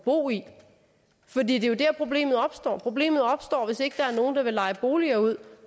bo i for det er jo dér problemet opstår problemet opstår hvis ikke der er nogen der vil leje boliger ud